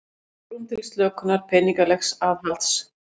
Enn svigrúm til slökunar peningalegs aðhalds